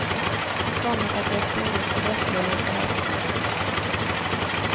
Tvånget att växla in västvaluta har försvunnit.